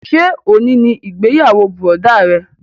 Ṣé òní ni ìgbéyàwó bùrọ̀dá rẹ?